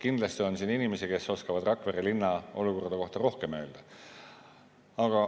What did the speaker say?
Kindlasti on siin inimesi, kes oskavad Rakvere linna olukorra kohta rohkem öelda.